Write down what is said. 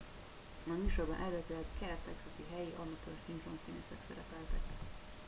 a műsorban eredetileg kelet texasi helyi amatőr szinkronszínészek szerepeltek